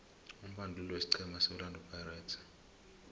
umbanduli wesiqhema seorlando pirates